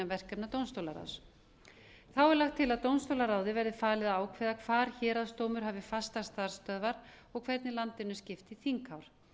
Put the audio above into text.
verkefna dómstólaráðs þá er lagt til að dómstólaráði verði falið að ákveða hvar héraðsdómur hafi fastar starfsstöðvar og hvernig landinu skipt í þinghár